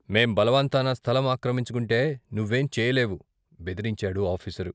మేం బలవంతాన స్థలం ఆక్రమించుకుంటే నువ్వేం చెయ్యలేవు మీరు ఆఫీసరు.